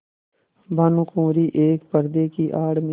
भानुकुँवरि एक पर्दे की आड़ में